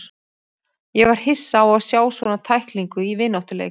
Ég var hissa á að sjá svona tæklingu í vináttuleik.